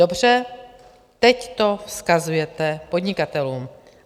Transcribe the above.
Dobře, teď to vzkazujete podnikatelům.